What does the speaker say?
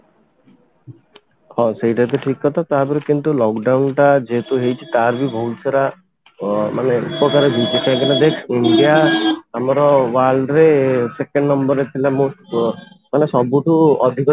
ହଁ, ସେଇଟା ତ ଠିକ କଥା କିନ୍ତୁ lock down ଟା ଯେହେତୁ ହେଇଚି ତାର ବି ବହୁତ ସାରା ଅ ମାନେ ଦେଖ ଇଣ୍ଡିଆ ଆମର world ରେ second ନମ୍ବର ରେ ଥିଲା ମାନେ ସବୁ ଠୁ ଅଧିକା